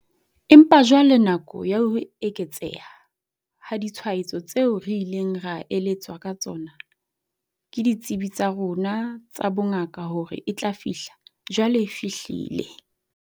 Empa jwale nako ya ho eketseha ha ditshwaetso tseo re ileng ra eletswa ka tsona ke ditsebi tsa rona tsa bongaka hore e tla fihla, jwale e fihlile.